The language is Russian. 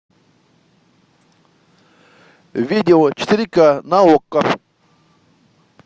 видео четыре к на окко